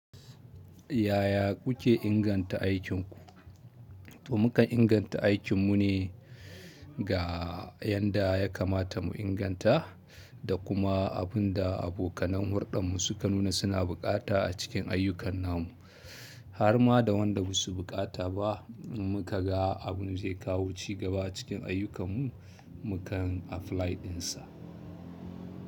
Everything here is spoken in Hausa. Ya ya kuke inganta aikin ku? To mukan inganta aikinmu ne ga yanda ya kamata mu inganta, da kuma abin da abokanan hurdanmu suka nuna suna buƙata a cikin ayyukan namu. Har ma da wanda ba su buƙata ba, in muka ga abin zai kawo ci gaba a cikin ayyukanmu, mukan 'apply' ɗinsa.